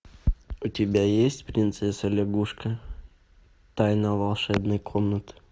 у тебя есть принцесса лягушка тайна волшебной комнаты